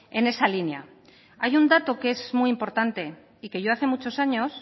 en esa línea hay un dato que es muy importante y que yo hace muchos años